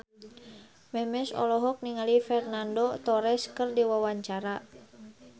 Memes olohok ningali Fernando Torres keur diwawancara